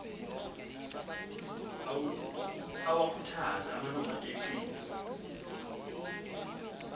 awakhuthaze amalungu enqila